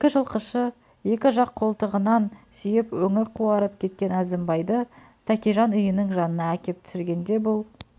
екі жылқышы екі жақ қолтығынан сүйеп өңі қуарып кеткен әзімбайды тәкежан үйінің жанына әкеп түсіргенде бұл